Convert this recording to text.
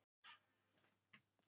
orðið þetta er ábendingarfornafn